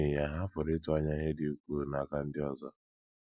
N’ihi ya, ha pụrụ ịtụ anya ihe dị ukwuu n’aka ndị ọzọ.